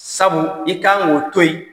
Sabu i kan k'o to yi.